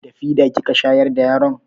Da fida kika shayar da yaron?